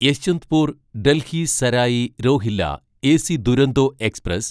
Yesvantpur Delhi Sarai Rohilla AC Duronto express